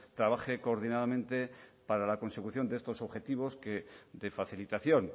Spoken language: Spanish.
trabaje coordinadamente para la consecución de estos objetivos de facilitación